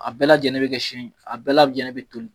A bɛɛ lajlen bɛ kɛ a bɛɛ lajɛlen bɛ toli